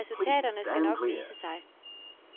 Resultaterne skal nok vise sig.